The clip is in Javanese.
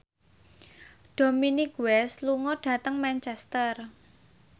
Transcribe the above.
Dominic West lunga dhateng Manchester